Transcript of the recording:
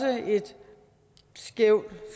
et skævt